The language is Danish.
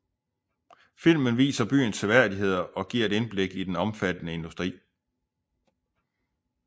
Filmen viser byens seværdigheder og giver et indblik i den omfattende industri